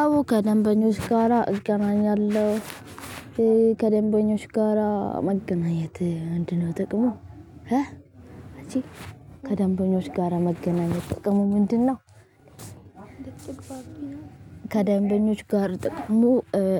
አቦ ከደንበኞች ጋራ እገናኛለሁ። ከደንበኞች ጋራ መገናኘት ምንድነው ጥቅሙ? እ አቺ ከ ደንበኞች ጋራ መገናኘት ጥቅሙ ምንድን ነው? ከደንበኞች ጋር ጥቅሙ